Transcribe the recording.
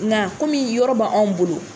Na yɔrɔ be anw bolo